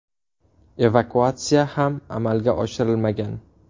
Evakuatsiya ham amalga oshirilmagan.